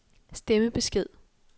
stemmebesked